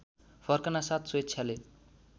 फर्कनासाथ स्वेच्छाले